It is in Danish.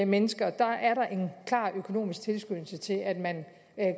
mennesker er der en klar økonomisk tilskyndelse til at man